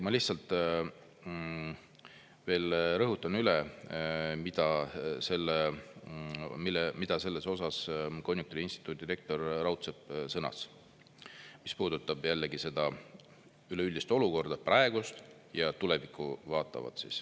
Ma lihtsalt veel rõhutan üle, mida selles osas konjunktuuriinstituudi rektor Raudsepp sõnas, mis puudutab jällegi seda üleüldist olukorda, praegust ja tulevikku vaatavat.